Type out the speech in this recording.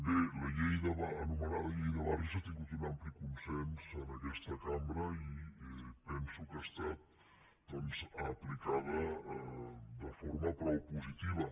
bé l’anomenada llei de barris ha tingut un ampli consens en aquesta cambra i penso que ha estat doncs aplicada de forma prou positiva